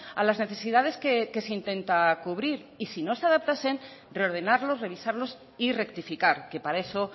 a las necesidades que se intenta cubrir y si no se adaptasen reordenarlos revisarlos y rectificar que para eso